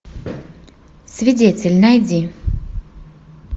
свидетель найди